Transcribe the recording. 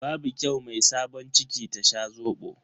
Babu kyau mai sabon ciki ta sha Zobo.